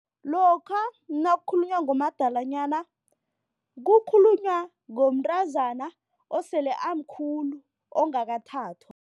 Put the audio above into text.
Lokha nakukhulunywa ngomadalanyana kukhulunywa ngomntazana osele amkhulu ongakathathwa.